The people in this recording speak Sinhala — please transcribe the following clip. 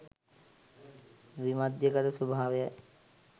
විමධ්‍යගත ස්වභාවයයි.